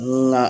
Ni na